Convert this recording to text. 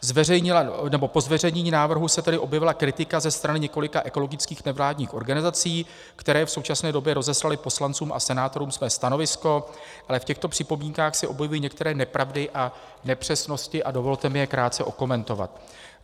Po zveřejnění návrhu se tedy objevila kritika ze strany několika ekologických nevládních organizací, které v současné době rozeslaly poslancům a senátorům své stanovisko, ale v těchto připomínkách se objevují některé nepravdy a nepřesnosti a dovolte mi je krátce okomentovat.